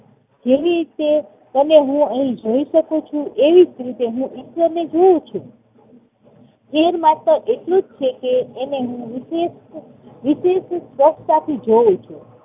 જેવી રીતે તમને હું અહી જોઈ શકું છું એવી રીતે હું ઈશ્વરને જોઉં છું. ફેર માત્ર એટલો જ છે કે એને હું વિશેષ સ્પષ્ટતા થી જોઉં છું